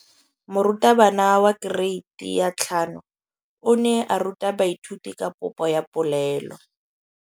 Moratabana wa kereiti ya 5 o ne a ruta baithuti ka popô ya polelô.